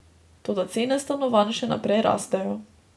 Toda cene stanovanj še naprej rastejo.